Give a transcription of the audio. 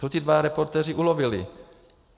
Co ti dva reportéři ulovili?